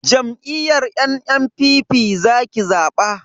Jam'iyyar NNPP zaki zaba.